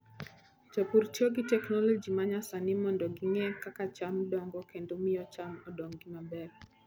Jopur tiyo gi teknoloji ma nyasani mondo ging'e kaka cham dongo kendo miyo cham odongi maber.